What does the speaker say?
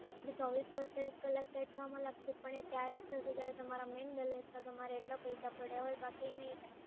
ચોવીસથી અડતાલીસ કલાક સેટ થવામાં લાગશે, પણ એ ત્યારે જ થશે જ્યારે તમારે મેઈન બેલેન્સમાં તમારે એટલા પૈસા પડ્યા હોય બાકી એ નઈ થાય